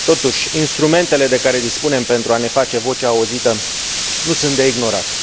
Totuși, instrumentele de care dispunem pentru a ne face vocea auzită nu sunt de ignorat.